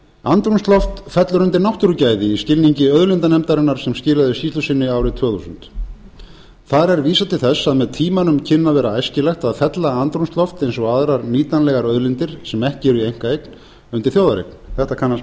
andrúmsloft fellur undir náttúrugæði í skilningi auðlindanefndarinnar sem skilaði skýrslu sinni árið tvö þúsund þar er vísað til þess að með tímanum kynni að vera æskilegt að fella andrúmsloft eins og aðrar nýtanlegar auðlindir sem ekki eru í einkaeign undir þjóðareign þetta kannast menn við